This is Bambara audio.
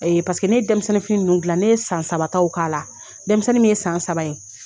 Ee paseke ne ye denmisɛnnin fini ninnu gila ne ye san sabataw k'a la denmisɛnnin minnu ye san saba ye